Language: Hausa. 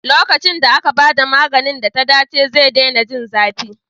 Lokacin da aka ba da maganin da ta dace, zai daina jin zafi.